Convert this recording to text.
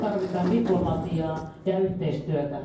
Nyt tarvitaan diplomatiaa ja yhteistyötä.